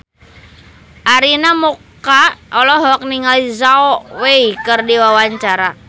Arina Mocca olohok ningali Zhao Wei keur diwawancara